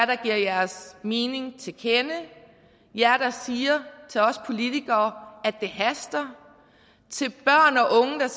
der giver jeres mening til kende jer der siger til os politikere at det haster